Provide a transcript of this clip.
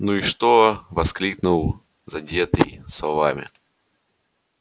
ну и что воскликнул задетый словами